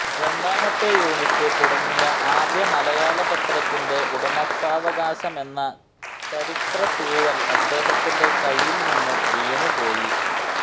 രണ്ടാമത്തെ യൂണിറ്റ് തുടങ്ങിയ ആദ്യ മലയാളപത്രത്തിന്റെ ഉടമസ്ഥാവകാശമെന്ന ചരിത്രത്തൂവൽ അദ്ദേഹത്തിന്റെ കയ്യിൽ നിന്നു വീണുപോയി